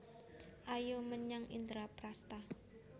Ayo menyang Indraprasta